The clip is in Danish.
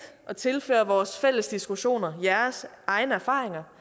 at tilføre vores fælles diskussioner jeres egne erfaringer